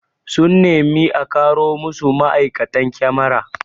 Sun nemi a karo masu ma'aikatan kyamara